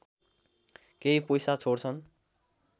केही पैसा छोड्छन्